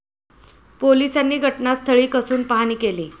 पोलिसांनी घटनास्थळी कसून पाहणी केली.